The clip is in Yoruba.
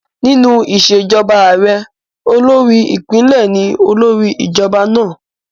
Nínú ìṣèjọba ààrẹ, olórí ìpínlẹ̀ ni olórí ìjọba náà